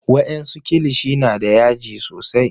wa en su kilishi na da yaji sosai